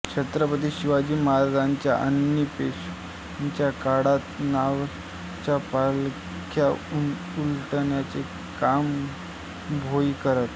छत्रपती शिवाजी महाराजांच्या आणि पेशव्यांच्या काळात नामवंतांच्या पालख्या उलण्याचे काम भोई करत असत